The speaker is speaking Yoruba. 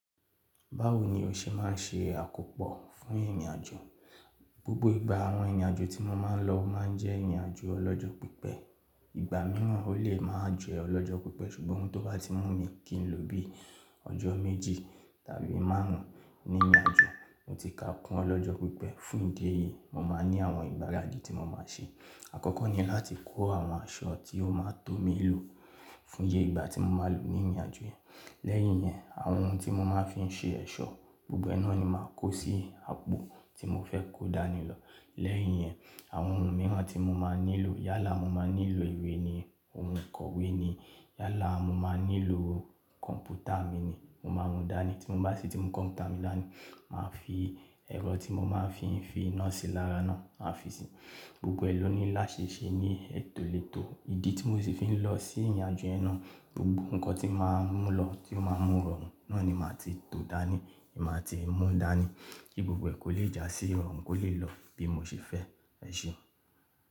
Báwo ni o ṣe máa ń ṣe àkópọ̀ fún ìrìnàjò? Gbogbo ìgbà àwọn ìrìnàjò tí mo máa ń lọ máa ń jẹ́ ìrìnàjò ọlọ́jọ́ pípẹ́. Ìgbà mìíràn ó lè máa jẹ́ ọlọ́jọ́ pípẹ́ ṣùgbọ́n tó bá ti mú mi kí n lo bíi ọjọ́ méjì tàbí márùn ún ní ìrìnàjò, mo ti ka kún ọlọ́jọ́ pípẹ́. Fún ìdí èyí, mo máa ń ní àwọn ìgbáradì tí mo máa ń ṣe. Àkọ́kọ́ ni láti kó àwọn aṣọ tí ó máa tó mi lò fún ye igba tí mo máa lò ní ìrìnàjò yẹn. Lẹ́yìn yẹn, àwọn ohun tí mo máa fi ń ṣe ẹ̀ṣọ́, gbogbo ẹ́ naa ni màá kó sí àpò tí mo fẹ́ kó dání lọ. Lẹ́yìn yẹn, àwọn ohun mìíràn tí mo máa nílò, yálà mo máa nílò ìwé ni, ohun ìkọ̀wé ni, yálà mo máa nílò kọ̀m̀pútà mi ni, mo máa mú dání. Tí mo bá sì ti kọ̀m̀pútà mi dání, màá fi ẹ̀rọ tí mo máa fi ń fi iná sí lára náà máa fi si. Gbogbo ẹ lọ́ni láṣẹ ṣe ní ètòlètò. Ìdí tí mo sì fi ń lọ sí ìrìnàjò yẹ́n náà, gbogbo nǹkan tí màá mú lọ tí ó máa mú rọrùn náà ni màá ti tó dání, máa ti mú dání kí gbogbo ẹ̀ kó lè jásí, rọrùn kó lè lọ bí mo ṣe fẹ́ ẹ ṣe.